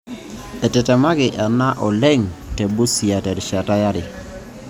Etetemaki ena oleng te Busia terishata yare.